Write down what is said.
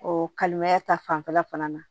O kalimaya ta fanfɛla fana na